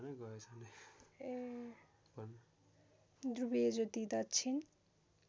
ध्रुवीय ज्योति दक्षिण